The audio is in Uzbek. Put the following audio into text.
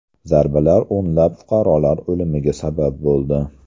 Zarbalar o‘nlab fuqarolar o‘limiga sabab bo‘ldi.